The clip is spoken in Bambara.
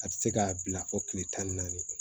A tɛ se k'a bila fɔ tile tan ni naani